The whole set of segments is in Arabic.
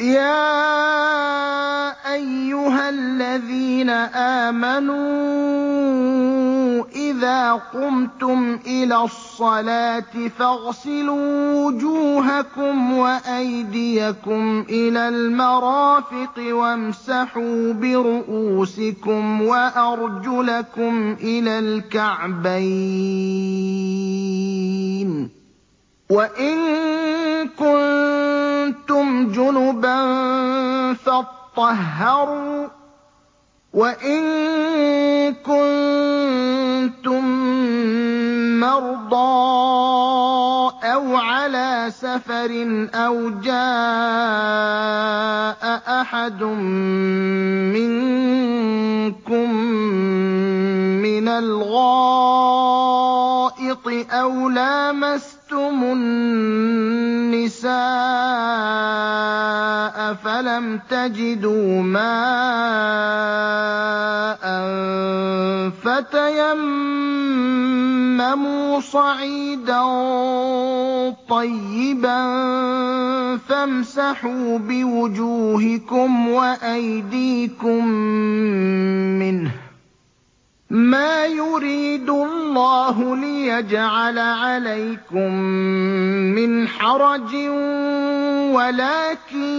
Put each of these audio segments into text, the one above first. يَا أَيُّهَا الَّذِينَ آمَنُوا إِذَا قُمْتُمْ إِلَى الصَّلَاةِ فَاغْسِلُوا وُجُوهَكُمْ وَأَيْدِيَكُمْ إِلَى الْمَرَافِقِ وَامْسَحُوا بِرُءُوسِكُمْ وَأَرْجُلَكُمْ إِلَى الْكَعْبَيْنِ ۚ وَإِن كُنتُمْ جُنُبًا فَاطَّهَّرُوا ۚ وَإِن كُنتُم مَّرْضَىٰ أَوْ عَلَىٰ سَفَرٍ أَوْ جَاءَ أَحَدٌ مِّنكُم مِّنَ الْغَائِطِ أَوْ لَامَسْتُمُ النِّسَاءَ فَلَمْ تَجِدُوا مَاءً فَتَيَمَّمُوا صَعِيدًا طَيِّبًا فَامْسَحُوا بِوُجُوهِكُمْ وَأَيْدِيكُم مِّنْهُ ۚ مَا يُرِيدُ اللَّهُ لِيَجْعَلَ عَلَيْكُم مِّنْ حَرَجٍ وَلَٰكِن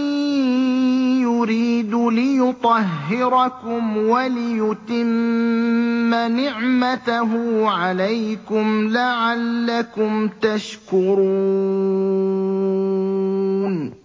يُرِيدُ لِيُطَهِّرَكُمْ وَلِيُتِمَّ نِعْمَتَهُ عَلَيْكُمْ لَعَلَّكُمْ تَشْكُرُونَ